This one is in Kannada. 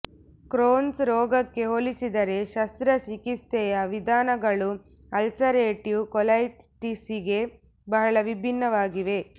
ಕ್ರೋನ್ಸ್ ರೋಗಕ್ಕೆ ಹೋಲಿಸಿದರೆ ಶಸ್ತ್ರಚಿಕಿತ್ಸೆಯ ವಿಧಾನಗಳು ಅಲ್ಸರೇಟಿವ್ ಕೊಲೈಟಿಸ್ಗೆ ಬಹಳ ವಿಭಿನ್ನವಾಗಿವೆ